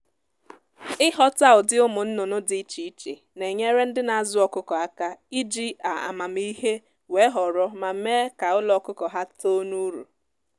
ịghọta ụdị ụmụ nnụnụ dị iche iche na-enyere ndị na azụ ọkụkọ aka iji a amamiihe wee họrọ ma mee ka ụlọ ọkụkụ ha too n'uru